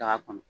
Daga kɔnɔ